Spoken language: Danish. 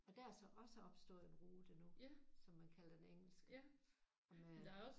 Og der er så også opstået en rute nu som man kalder den engelske og med